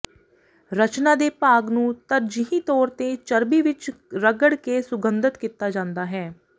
ਰਚਨਾ ਦੇ ਭਾਗ ਨੂੰ ਤਰਜੀਹੀ ਤੌਰ ਤੇ ਚਰਬੀ ਵਿਚ ਰਗੜ ਕੇ ਸੁਗੰਧਿਤ ਕੀਤਾ ਜਾਂਦਾ ਹੈ